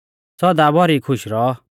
सौदा भौरी खुश रौऔ